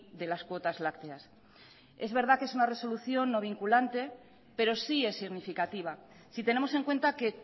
de las cuotas lácteas es verdad que es una resolución no vinculante pero sí es significativa si tenemos en cuenta que